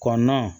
Kɔnɔnan